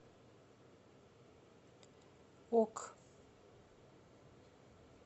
ок